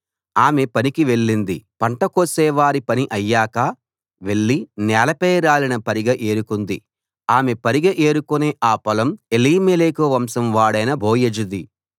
ఆమె పనికి వెళ్ళింది పంట కోసేవారి పని అయ్యాక వెళ్ళి నేలపై రాలిన పరిగె ఏరుకుంది ఆమె పరిగె ఏరుకునే ఆ పొలం ఎలీమెలెకు వంశం వాడైన బోయజుది